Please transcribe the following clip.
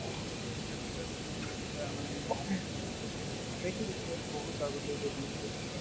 আজি কালিৰ movies কেটা মানে ing ভালে কৰিছে বহুত আগলৈ develop কৰিছে